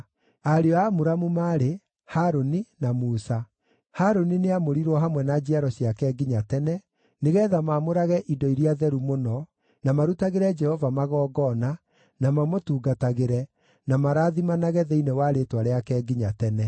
Ariũ a Amuramu maarĩ: Harũni na Musa. Harũni nĩamũrirwo hamwe na njiaro ciake nginya tene, nĩgeetha maamũrage indo iria theru mũno, na marutagĩre Jehova magongona, na mamũtungatagĩre, na marathimanage thĩinĩ wa rĩĩtwa rĩake nginya tene.